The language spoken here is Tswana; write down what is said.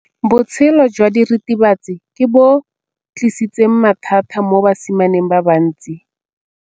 Botshelo jwa diritibatsi ke bo tlisitse mathata mo basimaneng ba bantsi.